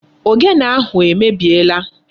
Ogene ahụ emebiela.